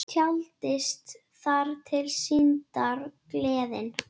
Taldist þar til syndar, gleðin.